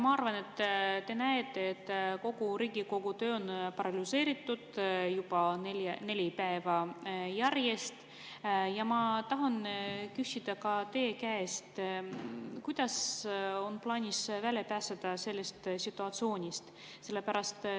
Ma arvan, et te näete, et kogu Riigikogu töö on paralüseeritud juba neli päeva järjest, ja ma tahan küsida teie käest, kuidas on plaanis välja pääseda sellest situatsioonist.